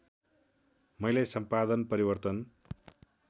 मैले सम्पादन परिवर्तन